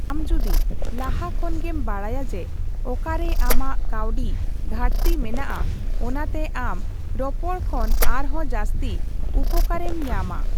ᱟᱢ ᱡᱚᱫᱤ ᱞᱟᱦᱟ ᱠᱷᱚᱱ ᱜᱮᱢ ᱵᱟᱰᱟᱭᱼᱟ ᱡᱮ, ᱚᱠᱟᱨᱮ ᱟᱢᱟᱜ ᱠᱟᱹᱣᱰᱤ ᱜᱷᱟᱴᱛᱤ ᱢᱮᱱᱟᱜᱼᱟ, ᱚᱱᱟᱛᱮ ᱟᱢ ᱨᱚᱯᱚᱲ ᱠᱷᱚᱱ ᱟᱨᱦᱚᱸ ᱡᱟᱹᱥᱛᱤ ᱩᱯᱠᱟᱹᱨ ᱮᱢ ᱧᱟᱢᱼᱟ ᱾